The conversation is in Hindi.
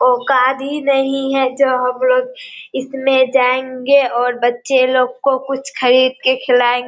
औकाद ही नहीं है जो हम लोग इसमे जायेगे और बच्चे लोग को कुछ खरीद के खिलाएं --